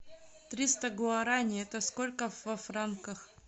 триста гуараней это сколько во франках